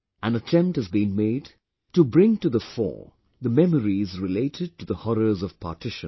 An attempt has been made to bring to the fore the memories related to the horrors of Partition